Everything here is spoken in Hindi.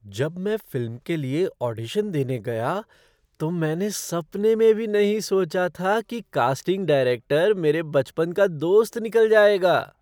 जब मैं फ़िल्म के लिए ऑडिशन देने गया तो मैंने सपने में भी नहीं सोचा था कि कास्टिंग डायरेक्टर मेरे बचपन का दोस्त निकल जाएगा!